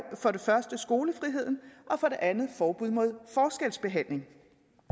for det første skolefrihed og for det andet forbud mod forskelsbehandling